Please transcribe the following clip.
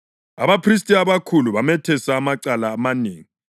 Abaphristi abakhulu bamethesa amacala amanengi.